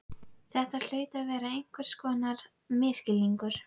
Þetta hlaut að vera einhvers konar misskilningur.